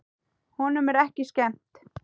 Honum er ekki skemmt.